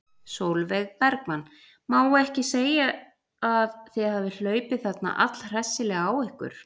Sólveig Bergmann: Má ekki segja að þið hafið hlaupið þarna allhressilega á ykkur?